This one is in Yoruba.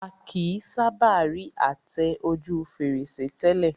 A kìí sábà rí àtẹ ojú fèrèsé tẹ́lẹ̀